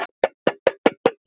Hvaða kylfu á að nota?